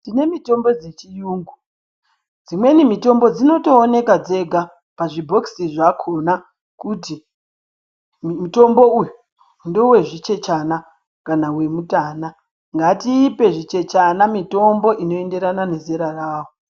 Tinemitombo dzechiyungu dzimweni mitombo dzinotooneka dzega pazvibhokisi zvakona kuti mutombo uyu ndewezvichechana kana wemutana ngatipe zvichechana mitombo inoenderana nezera rahwo.